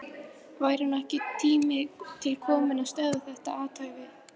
Væri nú ekki tími til kominn að stöðva þetta athæfi?